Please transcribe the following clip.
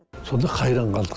сонда қайран қалдық